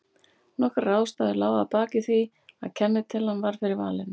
Nokkrar ástæður lágu að baki því að kennitalan varð fyrir valinu.